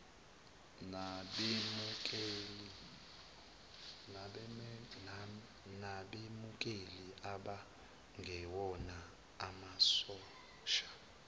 nabemukeli abangewona amasosha